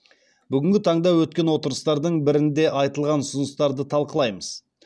бүгінгі таңда өткен отырыстардың бірінде айтылған ұсыныстарды талқылаймыз